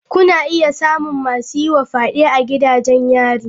Kuna iya samun masu yi wa fyade a gidajen yari.